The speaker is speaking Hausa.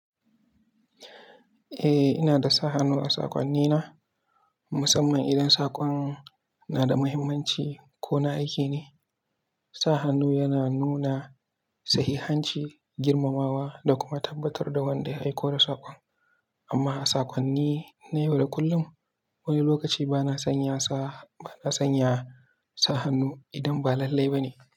Eh, ina da sa hannu a sakonnina. Musamman idan sakon na da muhimmanci ko na aiki ne, sa hannu yana nuna sahihanci, girmamawa da kuma tabbatar da wanda ya aiko da sakon. Amma a sakonni na yau da kullum, wani lokaci bana sanya sa hannu idan ba lallai ba ne.